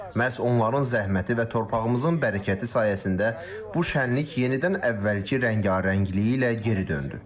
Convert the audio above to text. Məhz onların zəhməti və torpağımızın bərəkəti sayəsində bu şənlik yenidən əvvəlki rəngarəngliyi ilə geri döndü.